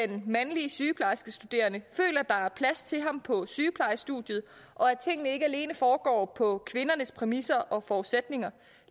den mandlige sygeplejerskestuderende føler der er plads til ham på sygeplejestudierne og tingene ikke alene foregår på kvindernes præmisser og forudsætninger